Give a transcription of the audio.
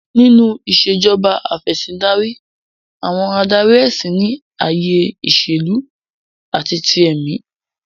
Nínú Ìṣèjọba Af'ẹ̀sìndarí, àwọn adarí ẹ̀sìn ní ayé ìṣèlú àti ti èmí